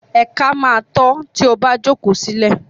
Ẹ̀ka má a ta ọ́ tí o bá jókòó sílẹ̀.